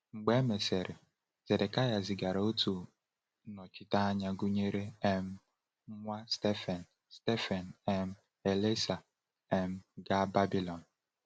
Mgbe e mesịrị, Zedekịa zigara otu nnọchiteanya gụnyere um nwa Shaphan, Shaphan, um Elasah, um gaa Babilọn.